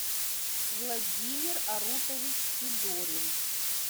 владимир арутович федорин